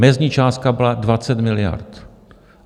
Mezní částka byla 20 miliard.